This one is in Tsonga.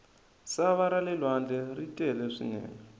sava rale lwandle ri tele swinene